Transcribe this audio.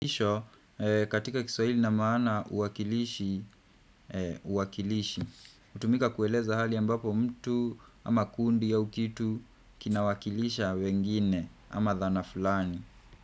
Isho, katika kiswahili ina maana uwakilishi, uwakilishi. Hutumika kueleza hali ambapo mtu ama kundi au kitu kinawakilisha wengine ama dhana fulani.